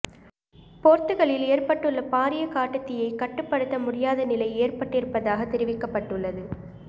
போர்த்துகலில் ஏற்பட்டுள்ள பாரிய காட்டுத்தீயை கட்டுப்படுத்த முடியாத நிலை ஏற்பட்டிருப்பதாக தெரிவிக்கப்பட்டுள்ளது